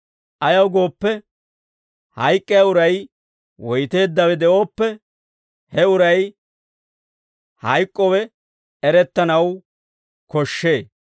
Ayaw gooppe, hayk'k'iyaa uray woyteeddawe de'ooppe, he uray hayk'k'owe erettanaw koshshee.